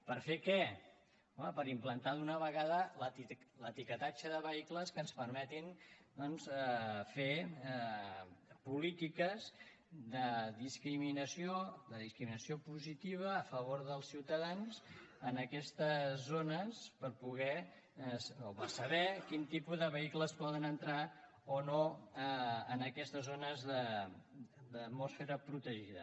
per fer què home per implantar d’una vegada l’etiquetatge de vehicles que ens permeti fer polítiques de discriminació positiva a favor dels ciutadans en aquestes zones per saber quin tipus de vehicles poden entrar o no en aquestes zones d’atmosfera protegida